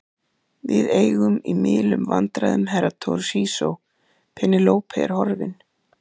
Við eigum í milum vandræðum Herra Toshizo, Penélope er horfin.